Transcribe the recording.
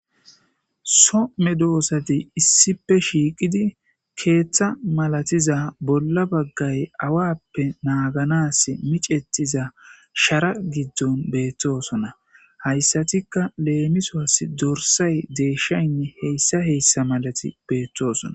So medoosati issipe shiiqidi keeththa malatiza bolla baggay awappe naaganassi micetiza shara giddon beettosona. Hayssatikka leemiswas dorssay deeshshaynne heyssa heyssa malati beettoosona.